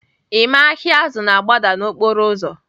Emma ahịa azụ na-agbada n'okporo ụzọ